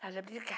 fala